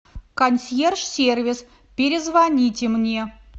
консьерж сервис перезвоните мне